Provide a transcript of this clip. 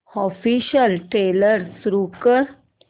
official trailer सुरू कर